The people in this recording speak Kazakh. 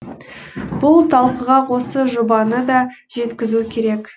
бұл талқыға осы жобаны да жеткізу керек